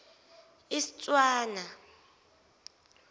istswana